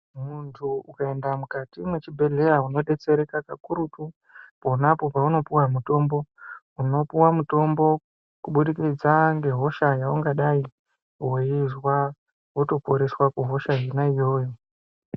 Muntu ukaenda mukati mwechibhedhleya unodetsereka kakurutu ponapo paunopuwa mutombo unopuwa mutombo kubudikidza ngehosha yaungadai weizwa wotoporeswa kuhosha yona iyoyo.